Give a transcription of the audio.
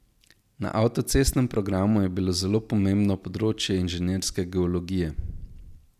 Na avtocestnem programu je bilo zelo pomembno področje inženirske geologije.